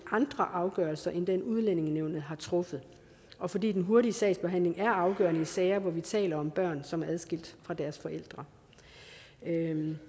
andre afgørelser end dem udlændingenævnet har truffet og fordi den hurtige sagsbehandling er afgørende i sager hvor vi taler om børn som er adskilt fra deres forældre